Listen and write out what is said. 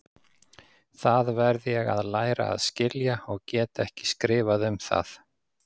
Það verð ég að læra að skilja og get ekki skrifað um það.